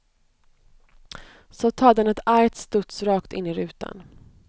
Så tar den ett argt studs rakt in i rutan.